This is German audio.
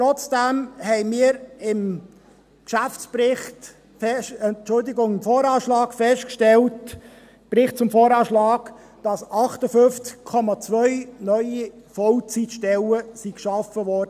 Trotzdem haben wir im Bericht zum VA gesehen, dass 58,2 neue Vollzeitstellen beim Kanton geschaffen wurden.